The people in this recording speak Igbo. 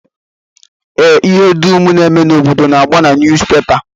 Ee, ihe dum na-eme n'obodo na-agba na nuuzpepa